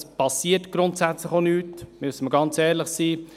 Es geschieht grundsätzlich auch nichts, da müssen wir ehrlich sein.